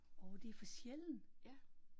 Åh det er for sjældent